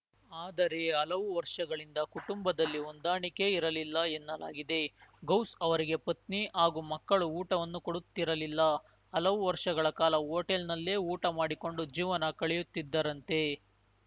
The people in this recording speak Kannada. ಆದರೆ ಹಲವು ವರ್ಷಗಳಿಂದ ಕುಟುಂಬದಲ್ಲಿ ಹೊಂದಾಣಿಕೆ ಇರಲಿಲ್ಲ ಎನ್ನಲಾಗಿದೆ ಗೌಸ್‌ ಅವರಿಗೆ ಪತ್ನಿ ಹಾಗೂ ಮಕ್ಕಳು ಊಟವನ್ನೂ ಕೊಡುತ್ತಿರಲಿಲ್ಲ ಹಲವು ವರ್ಷಗಳ ಕಾಲ ಹೋಟೆಲ್‌ನಲ್ಲೇ ಊಟ ಮಾಡಿಕೊಂಡು ಜೀವನ ಕಳೆಯುತ್ತಿದ್ದರಂತೆ